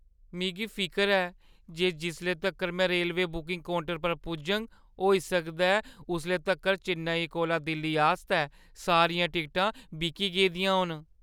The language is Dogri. मिगी फिकर ऐ जे जिसले तक्कर में रेलवे बुकिंग काउंटर पर पुजङ, होई सकदा ऐ उसले तक्कर चेन्नई कोला दिल्ली आस्तै सारियां टिकटां बिकी गेदियां होन।